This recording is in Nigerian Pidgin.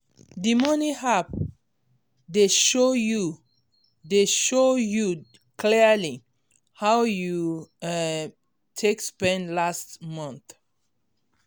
d money app dey show you dey show you clearly how you um take spend last month